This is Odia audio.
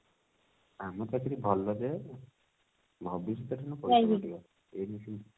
କାମ ଟା actually ଭଲ ଯେ ଭବିଷ୍ୟତ ରେ କିନ୍ତୁ ପରିଶ୍ରମ ପଡିବ